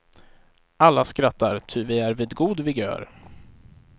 Alla skrattar ty vi är vid god vigör.